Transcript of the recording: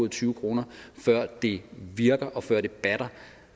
tyve kr før det virker og før det batter